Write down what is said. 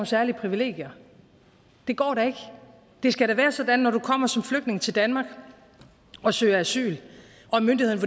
særlige privilegier det går da ikke det skal da være sådan at når du kommer som flygtning til danmark og søger asyl og myndighederne